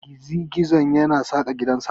Gizi-gizo yana saka gidansa.